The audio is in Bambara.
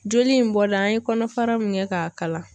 Joli in bɔla an ye kɔnɔfara min kɛ k'a kalan.